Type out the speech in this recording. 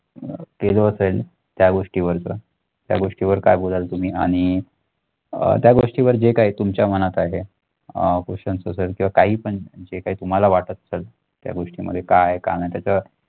केल असेन त्या गोष्टीवरच त्या गोष्टीवर काय बोलाल तुम्ही आणि अह त्या गोष्टीवर जे काय तुमच्या मनात आहे अह questions असेल किंवा काही पण जे काय तुम्हाला वाटत असेल त्या गोष्टीमध्ये काय काय नाही त्याच